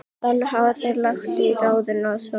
Þannig hafa þeir lagt á ráðin í sameiningu